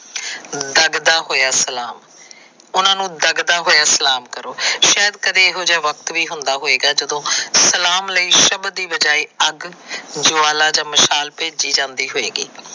ਜਗਦਾ ਹੋਇਆਂ ਸਲਾਮ। ਉਹਨਾਂ ਨੂੰ ਜਗਦਾ ਹੋਈਆਂ ਸਲਾਮ ਕਰੋ। ਸ਼ਾਇਦ ਕਦੇ ਇਹੋ ਜਿਹਾ ਵੀ ਵਕਤ ਹੋਵੇਗਾ ਜਦੋ ਸਲਾਮ ਲਈ ਸ਼ਬਦ ਦੀ ਬਜਾਏ ਅੱਗ, ਜਵਾਲਾ ਜਾਂ ਮਸ਼ਾਲ ਭੇਜੀ ਜਾਦੀ ਹੋਏਗੀ।